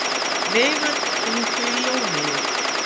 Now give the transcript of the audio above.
Veigar, hringdu í Jóneyju.